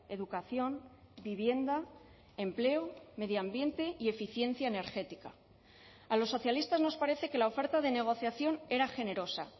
educación vivienda empleo medio ambiente y eficiencia energética a los socialistas nos parece que la oferta de negociación era generosa